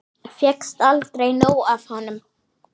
Fékkst aldrei nóg af honum.